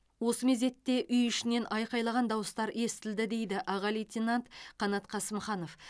осы мезетте үй ішінен айқайлаған дауыстар естілді дейді аға лейтенант қанат қасымханов